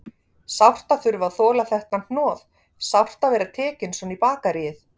Sárt að þurfa að þola þetta hnoð, sárt að vera tekinn svona í bakaríið.